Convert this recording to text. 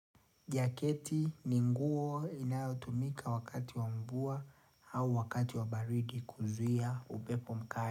Jaketi ni nguo inayotumika wakati wa mvua au wakati wa baridi kuzuia upepo mkali.